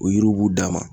O yiriw b'u d'a ma